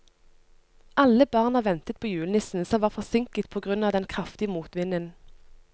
Alle barna ventet på julenissen, som var forsinket på grunn av den kraftige motvinden.